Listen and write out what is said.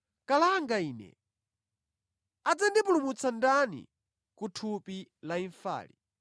Kalanga ine! Adzandipulumutsa ndani ku thupi la imfali?